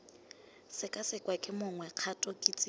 sekasekwa ke mongwe kgato kitsiso